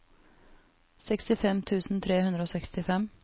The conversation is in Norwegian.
sekstifem tusen tre hundre og sekstifem